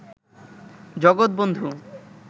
জগৎ বন্ধু